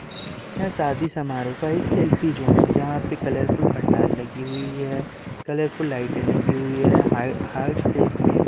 यह शादी समारोह का एक सेल्फी जोन है जहां पे कलरफुल पंडाल लगी हुई है कलरफुल लाइटे लगी हुई है हाई हार्ट शेप में--